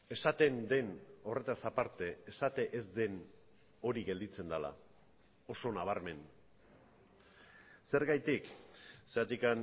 esaten den horretaz aparte esate ez den hori gelditzen dela oso nabarmen zergatik zergatik